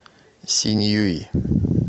синьюй